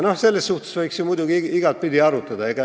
Seda võiks muidugi igatepidi arutada.